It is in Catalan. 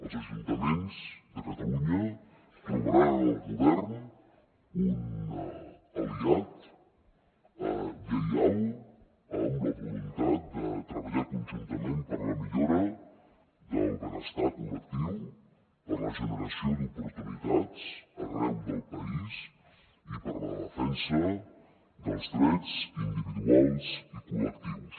els ajuntaments de catalunya trobaran en el govern un aliat lleial amb la voluntat de treballar conjuntament per la millora del benestar col·lectiu per la generació d’oportunitats arreu del país i per la defensa dels drets individuals i col·lectius